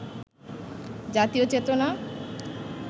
জাতীয় চেতনা